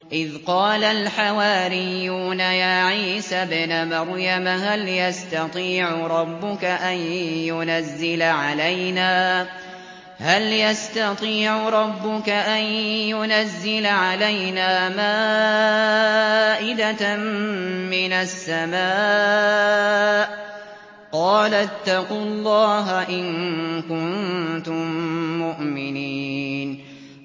إِذْ قَالَ الْحَوَارِيُّونَ يَا عِيسَى ابْنَ مَرْيَمَ هَلْ يَسْتَطِيعُ رَبُّكَ أَن يُنَزِّلَ عَلَيْنَا مَائِدَةً مِّنَ السَّمَاءِ ۖ قَالَ اتَّقُوا اللَّهَ إِن كُنتُم مُّؤْمِنِينَ